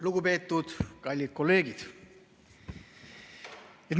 Lugupeetud kallid kolleegid!